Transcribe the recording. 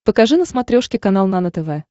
покажи на смотрешке канал нано тв